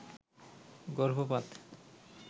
গর্ভপাত